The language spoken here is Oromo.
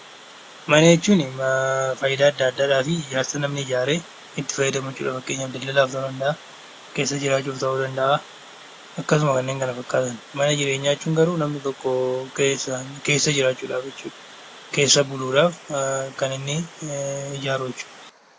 Mana jechuun faayidaa adda addaadhaafi ijaarsa namni ijaaree itti fayyadamu jechuudha. Fakkeenyaaf daldala mana keessa jiraachuuf ta'uu danda'a akkasuma kanneen kana fakkaatan. Mana jireenyaa jechuun garuu keessa jiraachuudhaaf jechuudha. Keessa buluudhaaf kan inni ijaaru jechuudha.